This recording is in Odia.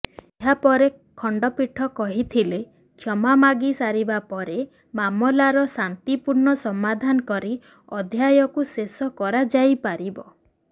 ଏହାପରେ ଖଣ୍ଡପୀଠ କହିଥିଲେ କ୍ଷମା ମାଗି ସାରିବାପରେ ମାମଲାର ଶାନ୍ତିପୂର୍ଣ୍ଣ ସମାଧାନ କରି ଅଧ୍ୟାୟକୁ ଶେଷ କରାଯାଇପାରିବ